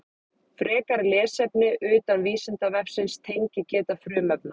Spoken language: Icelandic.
Frekara lesefni utan Vísindavefsins: Tengigeta frumefna.